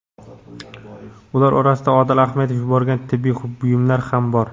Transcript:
Ular orasida Odil Ahmedov yuborgan tibbiy buyumlar ham bor.